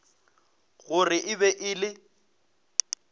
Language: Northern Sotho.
gore e be e le